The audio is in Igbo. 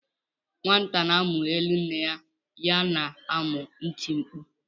Nwata na-amụ elu nne ya na-amu iti mkpu